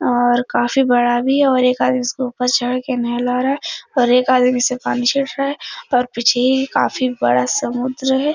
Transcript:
और काफी बड़ा भी है और एक आदमी उसके ऊपर चढ़ के नेहला रहा और एक आदमी इस पर पानी छिठ रहा है और पीछे काफी बड़ा समुन्द्र है ।